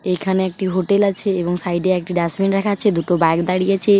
এখানে একটি হোটেল আছে এবং সাইডে একটি ডাস্টবিন রাখা আছে। দুটো বাইক দাঁড়িয়ে আছে ।